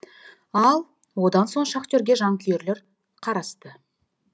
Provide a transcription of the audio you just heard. ал одан соң шахтерге жанкүйерлер қарасты